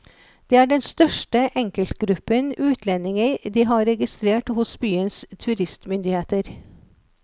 Det er den største enkeltgruppen utlendinger de har registrert hos byens turistmyndigheter.